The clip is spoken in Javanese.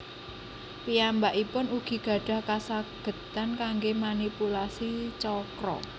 Piyambakipun ugi gadah kasagedan kangge manipulasi chakra